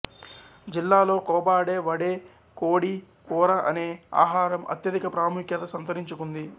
జిల్లాలో కొబాడే వడే కోడి కూర అనే ఆహారం అత్యధిక ప్రాముఖ్యత సంతరించుకుంది